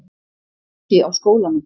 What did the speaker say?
Ekki á skólanum.